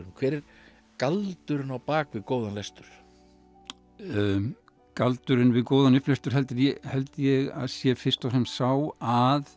hver er galdurinn á bak við góðan lestur galdurinn við góðan upplestur held ég held ég að sé fyrst og fremst sá að